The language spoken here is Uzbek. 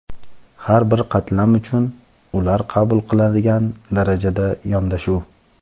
Har bir qatlam uchun ular qabul qiladigan darajada yondashuv.